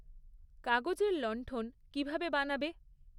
কাগজের লণ্ঠণ কীভাবে বানাবে